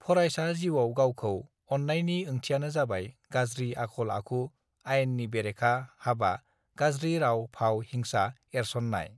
फरायसा जिउआव गावखौ अननायनि ओंथियानो जाबाय गाज्रि आखल आखु आयेननि बेरेखा हाबा गाज्रि राव भाव हिंसा एरसननाय